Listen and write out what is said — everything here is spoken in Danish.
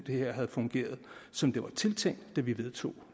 havde fungeret som det var tiltænkt da vi vedtog